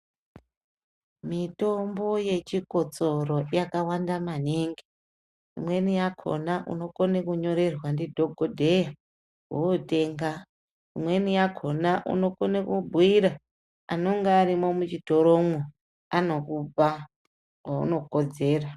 Mitombo yechikotsoro yakawanda manhingi. Imweni yakona unokone kunyorerwa ndidhokodheya wonotenga. Imweni yakona unokone kubhuyira anenge arimo muchitoromo anokupa yaunokodzera.